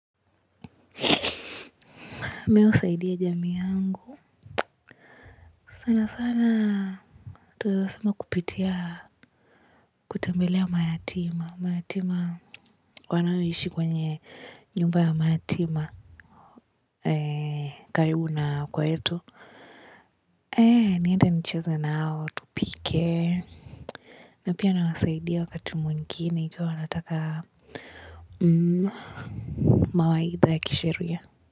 Mi husaidi jamii yangu. Sana sana twaeza sema kupitia kutembelea mayatima. Mayatima wanaoishi kwenye nyumba ya mayatima. Eee karibu na kwetu. Eee niende nicheze nao tupike. Na pia nawasaidia wakati mwingine ikiwa wanataka mawaidha ya kisheria.